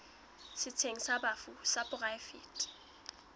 setsheng sa bafu sa poraefete